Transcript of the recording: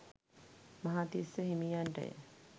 Mahatissa හිමියන්ටය.